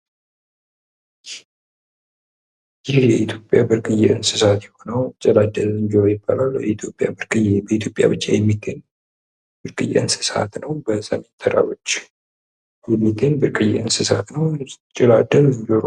ይህ የኢትዮጵያ ብርቅዬ እንስሳት የሆነው ጭላዳ ዝንጀሮ ይባላል ፤ በኢትዮጵያ ብቻ የሚገኝ ብርቅዬ እንስሳት ነው። በሰሜን ተራሮች አካባቢ የሚገኝ ብርቅዬ እንስሳት ነው።